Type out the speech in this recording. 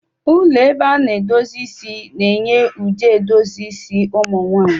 Ụlọ ebe a na-edozi isi na-enye ụdị edozi isi ụmụ nwanyị.